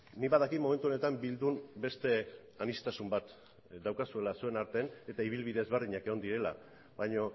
nik badakit momentu honetan bildun beste aniztasun bat daukazuela zuen arten eta ibilbide ezberdinak egon direla baina